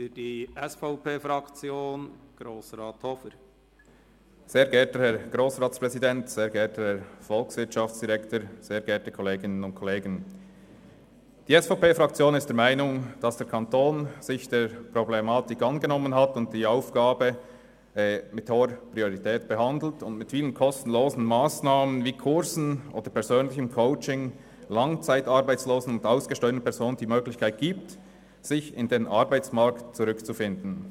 Die SVP-Fraktion ist der Meinung, dass der Kanton sich der Problematik angenommen hat, die Aufgabe mit hoher Priorität behandelt und mit vielen kostenlosen Massnahmen wie Kursen oder persönlichen Coachings Langzeitarbeitslosen und ausgesteuerten Personen die Möglichkeit gibt, in den Arbeitsmarkt zurückzufinden.